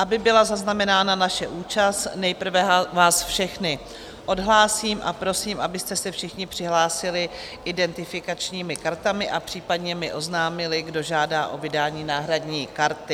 Aby byla zaznamenána naše účast, nejprve vás všechny odhlásím a prosím, abyste se všichni přihlásili identifikačními kartami a případně mi oznámili, kdo žádá o vydání náhradní karty.